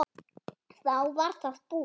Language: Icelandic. Þá var það búið.